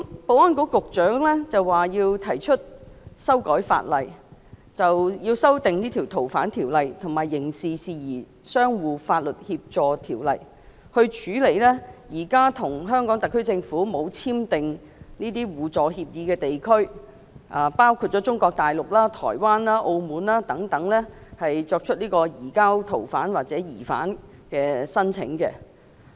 保安局局長提出修訂《逃犯條例》及《刑事事宜相互法律協助條例》，以處理現時未有與香港特區政府簽訂互助法律協議的地區——包括中國大陸、台灣、澳門等——所提出移交逃犯或疑犯的申請。